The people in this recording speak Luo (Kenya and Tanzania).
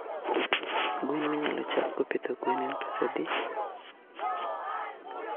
Gwen minyalo chakgo pidho gwen en pesadi?